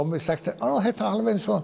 mér sagt þetta er alveg eins og